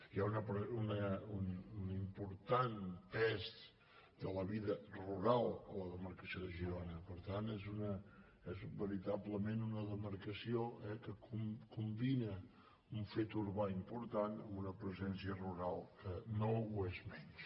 hi ha un important pes de la vida rural a la demarcació de girona per tant és veritablement una demarca·ció que combina un fet urbà important amb una pre·sència rural que no ho és menys